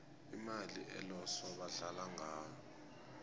imali eloso badlala ngayo